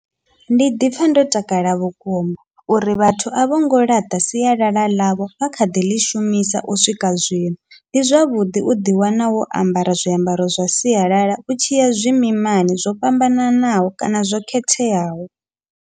Ndi ḓipfha ndo takala vhukuma uri vhathu a vhongo ḽaṱa sialala ḽavho, vha kha ḓi ḽi shumisa u swika zwino ndi zwavhuḓi u ḓi wana wo ambara zwiambaro zwa sialala u tshiya zwimimani, zwo fhambananaho kana zwo khetheaho.